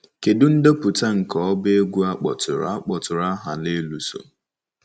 Kedu ndepụta nke ọba egwu a kpọtụrụ a kpọtụrụ aha n'elu so?